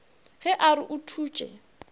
ge a re o thutše